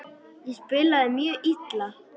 Ég spilaði mjög illa.